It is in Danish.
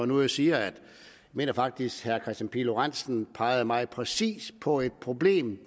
nu siger at jeg faktisk herre kristian pihl lorentzen pegede meget præcist på et problem